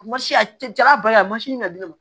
A ma sin a cɛ jara ba ye a ma sin na bilen